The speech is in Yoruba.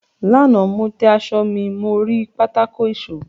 Lánàá, mo tẹ aṣọ mi mọ́ orí pátákó ìṣọ.